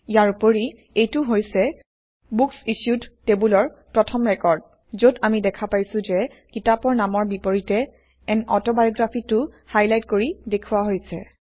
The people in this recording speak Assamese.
ইয়াৰ উপৰি এইটো হৈছে বুকচিচ্যুড টেবুলৰ প্ৰথম ৰেকৰ্ড যত আমি দেখা পাইছোঁ যে কিতাপৰ নামৰ বিপৰীতে আন Autobiography টো হাইলাইট কৰি দেখুওৱা হৈছে